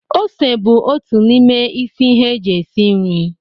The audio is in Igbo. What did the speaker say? Ose bụ otu n'ime isi ihe eji esi nri.